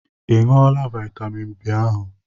I ṅụọla vitamin B ahụ?